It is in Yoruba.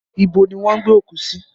Ibo ni wọ́n gbé òkú sí?